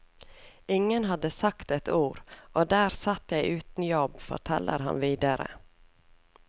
Ingen hadde sagt ett ord, og der satt jeg uten jobb, forteller han videre.